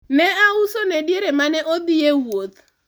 ne ausone diere mane odhi e wuoth